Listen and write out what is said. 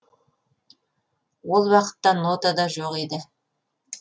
ол уақытта нота да жоқ еді